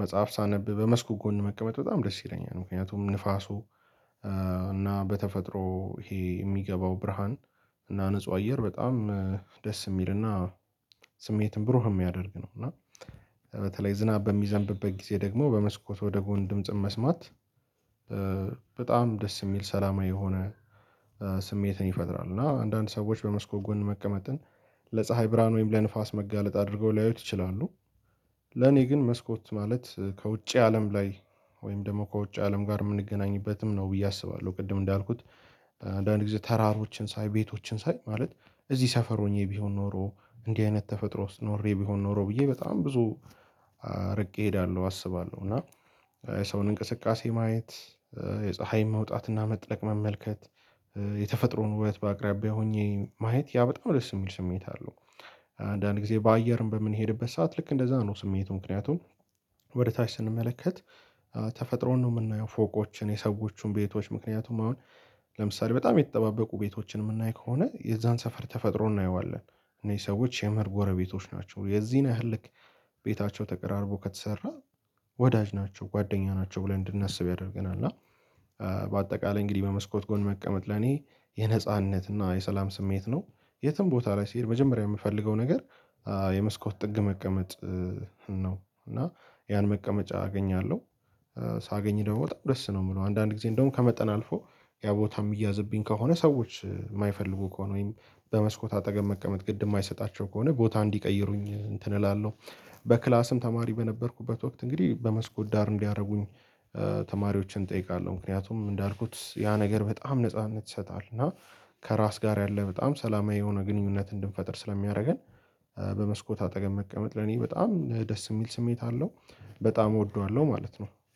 መጽሐፍ ሳነብ በመስኮት ጎን መቀመጥ በጣም ደስ ይለኛል። ምክንያቱም ንፋሱ እና በተፈጥሮ ይሄ የሚገባው ብርሃን እና ንጹህ አየር በጣም ደስ የሚልና ስሜትን ብሩህ የሚያደርግ ነው። እና በተለይ ዝናብ በሚዘንብበት ጊዜ ደግሞ በመስኮት ወደ ጎን ድምጽን መስማት በጣም ደስ የሚል ሰላማዊ የሆነ ስሜትን ይፈጥራል። እና አንዳንድ ሰዎች በመስኮ ጎን መቀመጥን ለፀሀይ ብርሃን ወይም ለንፋስ መጋለጥ አድርገው ሊያዩት ይችላሉ። ለኔ ግን መስኮት ማለት ከውጭ አለም ላይ ወይም ደግሞ ከውጭ አለም ጋር የምንገናኝበትም ነው ብዬ አስባለሁ። ቅድም እንዳልኩት አንዳንድ ጊዜ ተራሮችን ሳይ ቤቶችን ሳይ ማለት እዚህ ሰፈር ሆኜ ቢሆን ኖሮ እንዲህ አይነት ተፈጥሮ ውስጥ ኖሬ ቢሆን ኖሮ ብዬ በጣም ብዙ ርቄ እሄዳለሁ አስባለሁ። እና የሰውን እንቅስቃሴ ማየት የፀሀይ መውጣትና መጥለቅ መመልከት የተፈጥሮን ውበት በአቅራቢያ ሆኜ ማየት ያ በጣም ደስ የሚል ስሜት አለው። አንዳንድ ጊዜ በአየርም በምንሄድበት ሰዓት ልክ እንደዛ ነው። ስሜቱ ምክንያቱም ወደ ታች ስንመለከት ተፈጥሮን ነው የምናየው። ፎቆችን የሰዎቹን ቤቶች ምክንያቱም አሁን ለምሳሌ በጣም የተጠባበቁ ቤቶችን የምናይ ከሆነ የዛን ሰፈር ተፈጥሮ እናየዋለን። እነዚህ ሰዎች የምህር ጎረቤቶች ናቸው። የዚህን ያህል ልክ ቤታቸው ተቀራርቦ ከተሰራ ወዳጅ ናቸው ጓደኛ ናቸው ብለን እንድናስብ ያደርገናል። እና በአጠቃላይ እንግዲህ በመስኮት ጎን መቀመጥ ለኔ የነጻነት እና የሰላም ስሜት ነው። የትም ቦታ ላይ ስሄድ መጀመሪያ የምፈልገው ነገር የመስኮት ጥግ መቀመጥ ነው። እና ያን መቀመጫ አገኛለሁ። ሳገኝ ደግሞ በጣም ደስ ነው የምለው አንዳንድ ጊዜ እንደውም ከመጠን አልፎ ያ ቦታ እሚያዝብኝ ከሆነ ሰዎች የማይፈልጉ ከሆነ ወይም በመስኮት አጠገብ መቀመጥ ግድ የማይሰጣቸው ከሆነ ቦታ እንዲቀይሩኝ እንትን እላለሁ። በክላስም ተማሪ በነበርኩበት ወቅት እንግዲህ በመስኮት ዳር እንዲያደርጉኝ ተማሪዎችን እጠይቃለሁ። ምክንያቱም እንዳልኩት ያ ነገር በጣም ነጻነት ይሰጣል። እና ከራስ ጋር ያለ በጣም ሰላማዊ የሆነ ግንኙነት እንድንፈጥር ስለሚያደርገን። በመስኮት አጠገብ መቀመጥ ለኔ በጣም ደስ የእሚል ስሜት አለው በጣም እወደዋለሁ ማለት ነው